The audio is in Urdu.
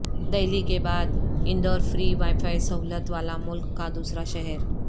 دہلی کے بعد اندورفری وائی فائی سہولت والا ملک کا دوسرا شہر